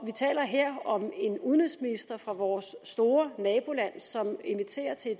vi taler her om en udenrigsminister fra vores store naboland som inviterer til